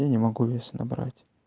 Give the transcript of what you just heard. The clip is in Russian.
я не могу вес набрать